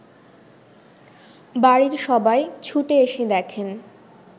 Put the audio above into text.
বাড়ির সবাই ছুটে এসে দেখেন